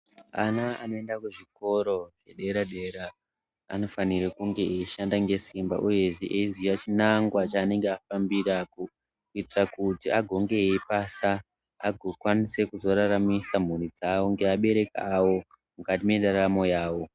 Ana anoenda kuzvikora zvedera dera anofanira kunge eishanda ngesimba uye eiziya chinangwa chaanenge vafambirako kuitira kuti vapase vakone kuriritira mhuri dzavo nevabereki vavo mukati mwendaramo yavo.